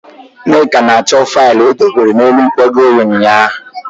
Nneka na-achọ faịlụ o dobere n'elu nkwago ya ụnyaahụ.